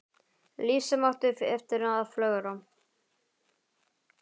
Líf sem átti eftir að flögra.